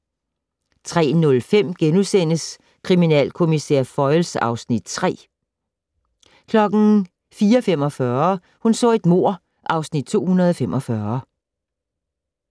03:05: Kriminalkommissær Foyle (Afs. 3)* 04:45: Hun så et mord (Afs. 245)